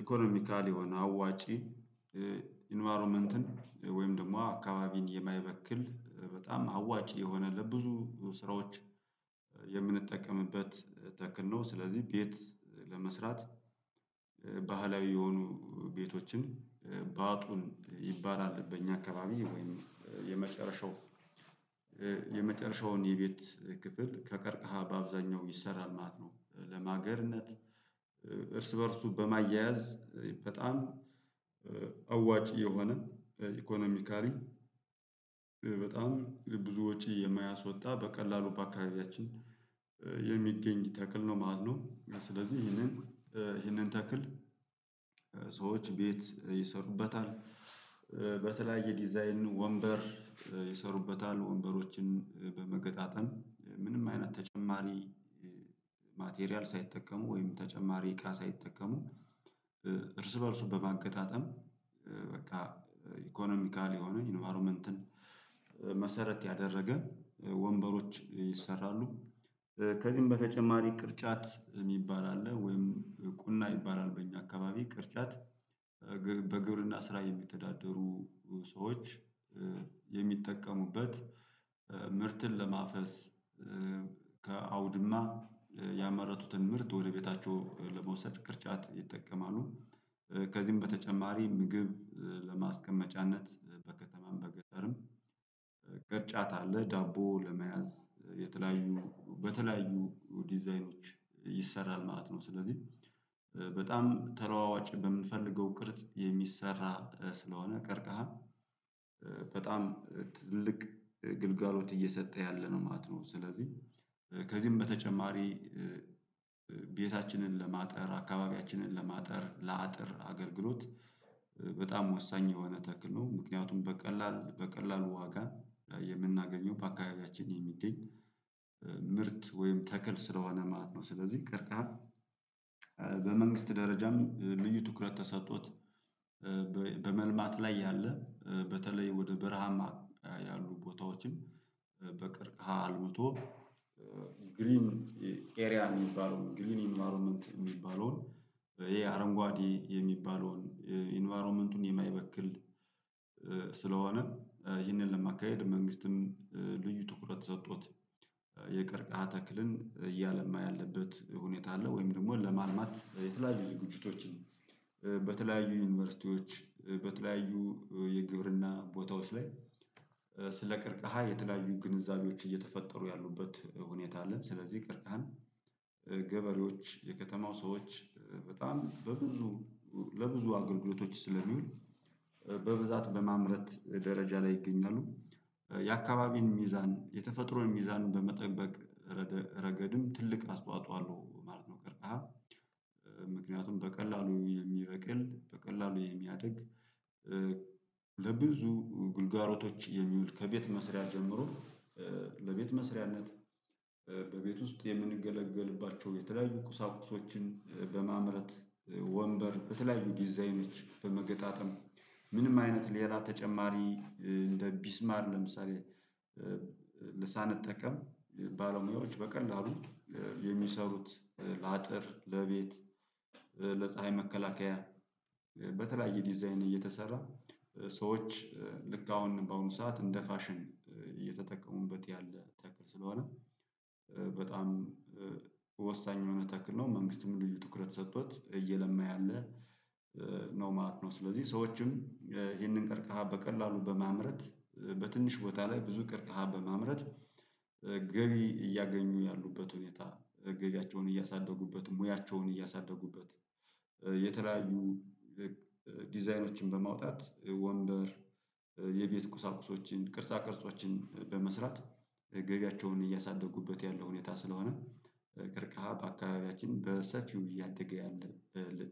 ኢኮኖሚካል የሆነ አዋጪ ኢንቫይሮመንትን ወይም ደግሞ አካባቢን የማይበክል በጣም አዋጭ የሆነ ለብዙ ስራዎች የምንጠቀምበት ተክል ነው። ስለዚህ ቤት ለመስራት ባህላዊ የሆኑ ቤቶችን ባጡን ይባላል በእኛ አካባቢ ወይም የመጨረሻው የመጨረሻውን የቤት ክፍል ከቀርከሃ በአብዛኛው ይሰራል ማለት ነው። ለማገርነት እርስ በእርሱ በማያያዝ በጣም አዋጭ የሆነ ኢኮኖሚካሊ በጣም ብዙ ወጪ የማያስወጣ በቀላሉ በአካባቢያችን የሚገኝ ተክል ነው ማለት ነው። ስለዚህ ይሄንን ይሄንን ተክል ሰዎች ቤት ይሰሩበታል። በተለያየ ዲዛይን ወንበር ይሰሩበታል ወንበሮችን በመገጣጠም ምንም አይነት ተጨማሪ ማቴሪያል ሳይጠቀሙ ወይም ተጨማሪ እቃ ሳይጠቀሙ እርስ በእርሱ በማገጣጠም በቃ ኢኮኖሚካል የሆነ ኢንቫይሮመንትን መሰረት ያደረገ ወንበሮች ይሰራሉ። ከዚህም በተጨማሪ ቅርጫት የሚባል አለ ወይም ቁና ይባላል በእኛ አካባቢ ቅርጫት በግብርና ስራ የሚተዳደሩ ሰዎች የሚጠቀሙበት ምርትን ለማፈስ ከአውድማ ያመረቱትን ምርት ወደ ቤታቸው ለመውሰድ ቅርጫት ይጠቀማሉ። ከዚህም በተጨማሪ ምግብ ለማስቀመጫነት በከተማም በገጠርም ለዳቦ ለመያዝ የተለያዩ በተለያዩ ዲዛይኖች ይሰራል ማለት ነው። ስለዚህ በጣም ተለዋዋጭ በምንፈልገው ቅርጽ የሚሰራ ስለሆነ ቀርከሃ በጣም ትልቅ ግልጋሎት እየሰጠ ያለ ነው ማለት ነው። ስለዚህ ከዚህም በተጨማሪ ቤታችንን ለማጠር አካባቢያችንን ለማጠር ለአጥር አገልግሎት በጣም ወሳኝ የሆነ ተክል ነው። ምክንያቱም በቀላል በቀላሉ ዋጋ የምናገኘው በአካባቢያችን የሚገኝ ምርት ወይም ተክል ስለሆነ ማለት ነው። ስለዚህ ቀርከሃ በመንግስት ደረጃም ልዩ ትኩረት ተሰጥቶት በመልማት ላይ ያለ በተለይ ወደ በረሃማ ያሉ ቦታዎችም በቀርከሃ አልምቶ ግሪን ኤሪያ የሚባለውን ግሪን ኢንቫይሮመንት የሚባለውን ይሄ አረንጓዴ የሚባለውን ኢንቫይሮመንቱን የማይበክል ስለሆነ ይህንን ለማካሄድ መንግስትም ልዩ ትኩረት ሰጥቶት የቀርከሃ ተክልን እያለማ ያለበት ሁኔታ አለ ወይም ደግሞ ለማልማት የተለያዩ ዝግጅቶችን በተለያዩ ዩኒቨርሲቲዎች በተለያዩ የግብርና ቦታዎች ላይ ስለ ቀርከሃ የተለያዩ ግንዛቤዎች እየተፈጠሩ ያሉበት ሁኔታ አለ። ስለዚህ ቀርከሃን ገበሬዎች የከተማው ሰዎች በጣም በብዙ ለብዙ አገልግሎቶች ስለሚውል በብዛት በማምረት ደረጃ ላይ ይገኛሉ የአካባቢን ሚዛን የተፈጥሮን ሚዛን በመጠበቅ ረገድም ትልቅ አስተዋጽኦ አለው ማለት ነው። ቀርከሃ ምክንያቱም በቀላሉ የሚበቅል በቀላሉ የሚያድግ ለብዙ ግልጋሎቶች የሚውል ከቤት መስሪያ ጀምሮ ለቤት መስሪያነት በቤት ውስጥ የምንገለገልባቸው የተለያዩ ቁሳቁሶችን በማምረት ወንበር በተለያዩ ዲዛይኖች በመገጣጠም ምንም አይነት ሌላ ተጨማሪ እንደ ቢስማር ለምሳሌ ሳንጠቀም ባለሙያዎች በቀላሉ የሚሰሩት ለአጥር ለቤት ለፀሀይ መከላከያ በተለያየ ዲዛይን እየተሰራ ሰዎች ልክ አሁን በአሁኑ ሰዓት እንደ ፋሽን እየተጠቀሙበት ያለ ተክል ስለሆነ በጣም ወሳኝ የሆነ ተክል ነው። መንግስትም ልዩ ትኩረት ሰጥቶት እየለማ ያለ ነው ማለት ነው። ስለዚህ ሰዎችም ይህንን ቀርከሃ በቀላሉ በማምረት በትንሽ ቦታ ላይ ብዙ ቀርከሃ በማምረት ገቢ እያገኙ ያሉበት ሁኔታ። ገቢያቸውን እያሳደጉበት ሙያቸውን እያሳደጉበት የተለያዩ ዲዛይኖችን በማውጣት ወንበር የቤት ቁሳቁሶችን ቅርጻ ቅርጾችን በመስራት ገቢያቸውን እያሳደጉበት ያለ ሁኔታ ስለሆነ። ቀርከሃ በአካባቢያችን በሰፊው እያደገ ያለ